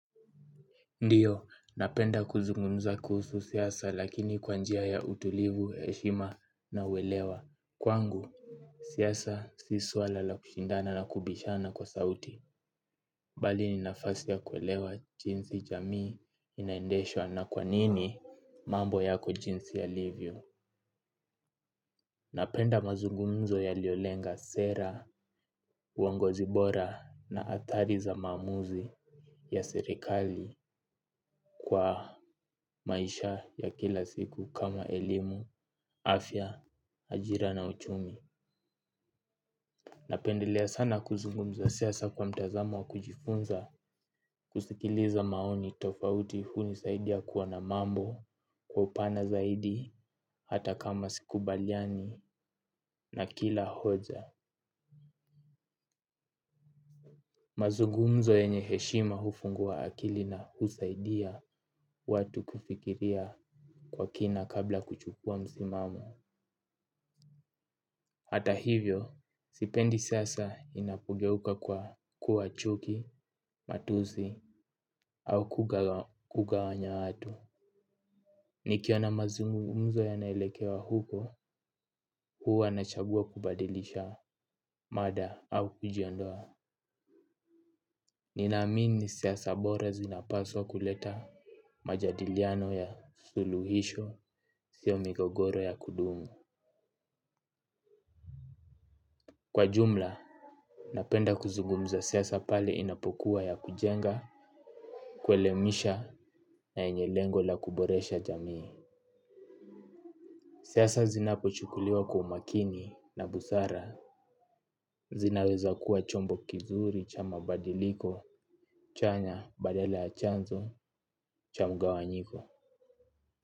Ndiyo, napenda kuzungumza kuhusu siasa lakini kwanjia ya utulivu, heshima na uelewa. Kwangu, siasa sisuala la kushindana na kubishana kwa sauti. Balini nafasi ya kuelewa jinsi jamii inaendeshwa na kwanini mambo yako jinsi ya livyo. Napenda mazugumzo ya liyolenga sera, uongo zibora na atari za maamuzi ya serekali kwa maisha ya kila siku kama elimu, afya, ajira na uchumi. Napendelea sana kuzugumza siasa kwa mtazamo wa kujifunza kusikiliza maoni tofauti huni saidia kuwa na mambo, kwa upana zaidi, hata kama siku baliani na kila hoja. Mazungu mzo yenyeheshima hufungua akili na husaidia watu kufikiria kwa kina kabla kuchukua msimamo. Hata hivyo, sipendi sasa inapogeuka kwa kuwachuki, matuzi au kuga wanya watu. Nikiona mazungumzo yanaelekea uko huwa nachagua kubadilisha mada au kujiondoa. Nina amini siasabora zinapaswa kuleta majadiliano ya suluhisho siomigogoro ya kudumu. Kwa jumla, napenda kuzugumza siasa pale inapokuwa ya kujenga, kwelemisha na yenye lengo la kuboresha jamii. Siasa zinapochukuliwa kwa umakini na busara zinaweza kuwa chombo kizuri cha mabadiliko, chanya, badala ya chanzo, cha mga wanyiko.